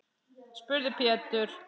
spurði Pétur.